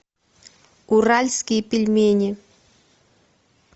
уральские пельмени